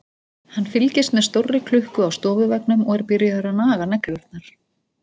Hann fylgist með stórri klukku á stofuveggnum og er byrjaður að naga neglurnar.